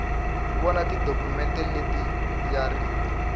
vona tidokhumente leti ya ri